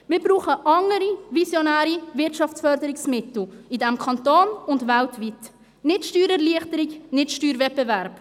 Wir brauchen andere, visionäre Wirtschaftsförderungsmittel in diesem Kanton und weltweit, nicht Steuererleichterung, nicht Steuerwettbewerb.